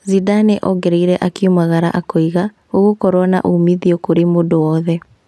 Zidane ongereire akiumagara akoiga "gũgũkorwo na umuthio kũrĩ mũndũ wothe"